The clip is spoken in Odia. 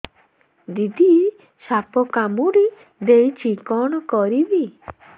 ଦିଦି ସାପ କାମୁଡି ଦେଇଛି କଣ କରିବି